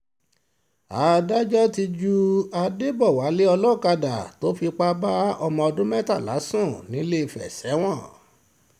adájọ́ ti ju adébọ̀wálé olókàdá tó fipá bá ọmọ ọdún mẹ́tàlá sùn nìléèfẹ̀ sẹ́wọ̀n